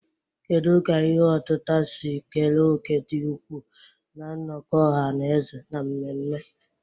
Kedu ka ihe otita si kere òkè dị ukwuu na nnọkọ ọha na eze na mmemme?